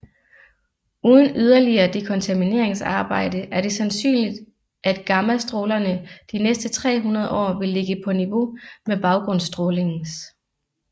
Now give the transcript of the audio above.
Uden yderligere dekontamineringsarbejde er det sandsynligt at gammastrålerne de næste 300 år vil ligge på niveau med baggrundsstrålingens